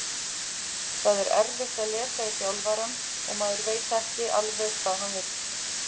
Það er erfitt að lesa í þjálfarann og maður veit ekki alveg hvað hann vill.